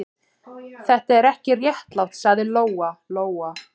Þetta er ekki réttlátt, sagði Lóa-Lóa.